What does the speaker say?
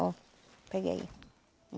Ó, pega aí.